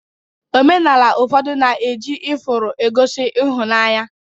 Omenala ụfọdụ na-eji ifuru egosi ịhụnanya